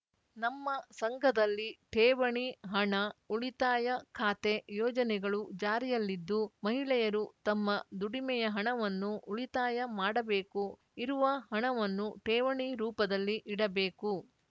ನಮ್ಮ ಸಂಘದಲ್ಲಿ ಠೇವಣಿ ಹಣ ಉಳಿತಾಯ ಖಾತೆ ಯೋಜನೆಗಳು ಜಾರಿಯಲ್ಲಿದ್ದು ಮಹಿಳೆಯರು ತಮ್ಮ ದುಡಿಮೆಯ ಹಣವನ್ನು ಉಳಿತಾಯ ಮಾಡಬೇಕು ಇರುವ ಹಣವನ್ನು ಠೇವಣಿ ರೂಪದಲ್ಲಿ ಇಡಬೇಕು